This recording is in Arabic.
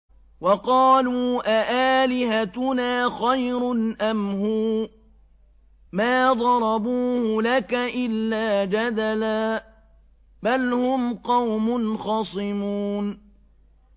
وَقَالُوا أَآلِهَتُنَا خَيْرٌ أَمْ هُوَ ۚ مَا ضَرَبُوهُ لَكَ إِلَّا جَدَلًا ۚ بَلْ هُمْ قَوْمٌ خَصِمُونَ